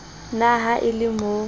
na ha e le mo